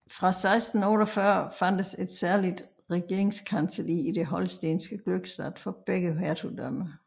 Fra 1648 fandtes et særligt regeringskancelli i det holstenske Glückstadt for begge hertugdømmer